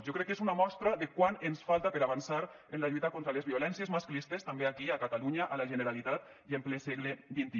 jo crec que és una mostra de quant ens falta per avançar en la lluita contra les violències masclistes també aquí a catalunya a la generalitat i en ple segle xxi